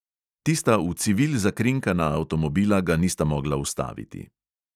Tista v civil zakrinkana avtomobila ga nista mogla ustaviti.